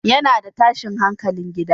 Yana da tashin hankalin gida